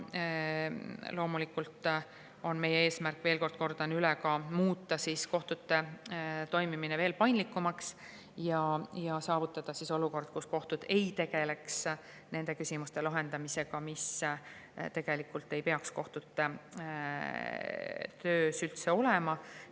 Loomulikult on meie eesmärk, kordan üle, muuta kohtute toimimine veel paindlikumaks ja saavutada olukord, kus kohtud ei tegeleks selliste küsimuste lahendamisega, mis tegelikult ei peaks kohtute töös üldse olema.